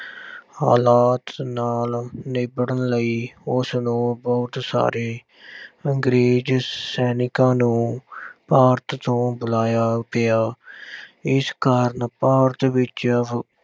ਹਾਲਾਤ ਨਾਲ ਨਿਬੜਣ ਲਈ ਉਸਨੂੰ ਬਹੁਤ ਸਾਰੇ ਅੰਗਰੇਜ਼ ਸੈਨਿਕਾਂ ਨੂੰ ਭਾਰਤ ਤੋਂ ਬੁਲਾਇਆ ਗਿਆ। ਇਸ ਕਾਰਨ ਭਾਰਤ ਵਿੱਚ ਅਹ